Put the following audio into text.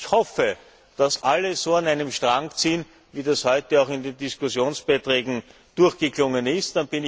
Ich hoffe, dass alle so an einem Strang ziehen, wie das heute auch in den Diskussionsbeiträgen durchgeklungen ist.